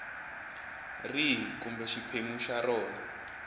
rihi kumbe xiphemu xa rona